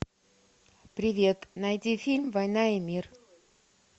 привет найди фильм война и мир